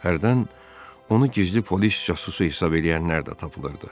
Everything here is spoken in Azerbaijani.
Hərdən onu gizli polis casusu hesab eləyənlər də tapılırdı.